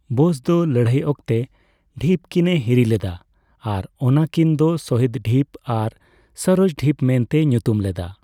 ᱵᱳᱥ ᱫᱚ ᱞᱟᱹᱲᱦᱟᱹᱭ ᱚᱠᱛᱮ ᱰᱷᱤᱯ ᱠᱤᱱᱮ ᱦᱤᱨᱤ ᱞᱮᱫᱟ ᱟᱨ ᱚᱱᱟ ᱠᱤᱱ ᱫᱚ ᱥᱚᱦᱤᱫᱽᱼᱫᱤᱯ ᱟᱨ ᱥᱚᱨᱟᱡᱽᱼᱫᱤᱯ ᱢᱮᱱᱛᱮᱭ ᱧᱩᱛᱩᱢ ᱞᱮᱫᱟ᱾